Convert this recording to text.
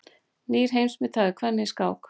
Nýr heimsmeistari kvenna í skák